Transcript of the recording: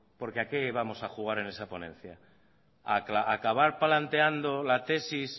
porque a qué vamos a jugar en esa ponencia a acabar planteando la tesis